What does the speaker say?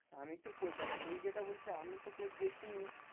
আমি তো কোই দেখ তুই যেটা বলছিস আমি তো কোই দেখিনি।